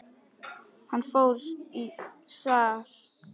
Hann fór fram í sal.